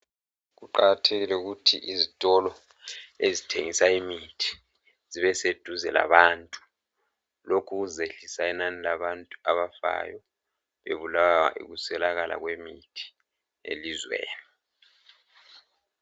Kuqakathekile ukuthi izitolo ezithengisa imithi zibe seduze labantu lokhu kuzehlisa inani labantu abafayo bebulawa yikuswelakala kwemithi elizweni.